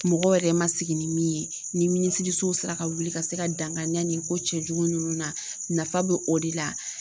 Mɔgɔ yɛrɛ ma sigi ni min ye ni minisiriso sera ka wuli ka se ka dankari nin ko cɛjugu ninnu na nafa be o de la